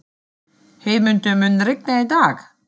Heiðmundur, mun rigna í dag?